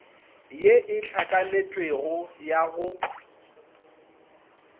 ye e hlakanetšwego ya go